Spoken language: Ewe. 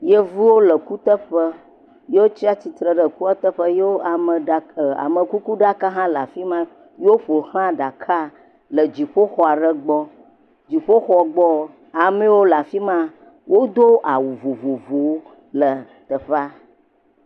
Yevuwo le kuteƒe. Ye wotsi atsitre ɖe ekuateƒe. ameɖaka, amekukuɖaka hã le afi ma ye woƒoxla ɖaka le dziƒoxɔ aɖe gbɔ. Le dziƒox gbɔ ame yewo le afi ma do awu vovovowo le teƒea.